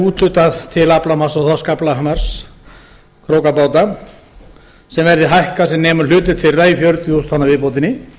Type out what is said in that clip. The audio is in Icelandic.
úthlutað til aflamarks og þorskaflamarks krókabáta sem verði hækkað sem nemur hlutdeild þeirra í fjörutíu þúsund tonna viðbótinni